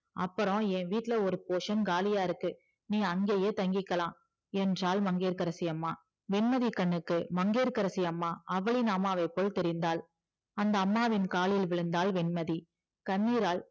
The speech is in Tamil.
அப்புறம் என் வீட்டுல ஒரு portion காலியா இருக்கு நீ அங்கயே தங்கிக்கலா என்றால் மங்கையகரசி அம்மா வெண்மதி கண்ணுக்கு மங்கையகரசி அம்மா அகலில் அம்மாவை போல் தெரிந்தால் அந்த அம்மாவின் காலில் விழுந்தால் வெண்மதி கண்ணீரால்